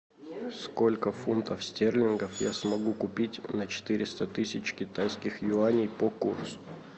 сколько фунтов стерлингов я смогу купить на четыреста тысяч китайских юаней по курсу